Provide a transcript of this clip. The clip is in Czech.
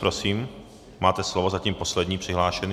Prosím, máte slovo, zatím poslední přihlášený.